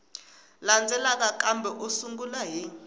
landzelaka kambe u sungula hi